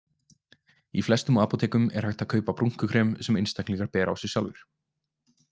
Í flestum apótekum er hægt að kaupa brúnkukrem sem einstaklingar bera á sig sjálfir.